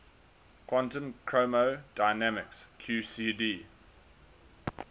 quantum chromodynamics qcd